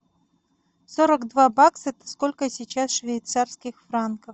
сорок два бакса сколько сейчас швейцарских франков